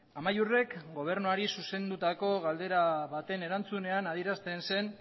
amaiurrek gobernuari zuzendutako galdera baten erantzunean adierazten zen